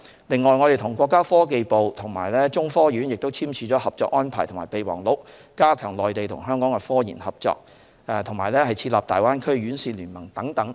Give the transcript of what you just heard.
此外，我們與國家科學技術部及中國科學院簽署合作安排和備忘錄，加強內地與香港的科研合作，並設立"大灣區院士聯盟"等。